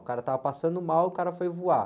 O cara estava passando mal e o cara foi voar.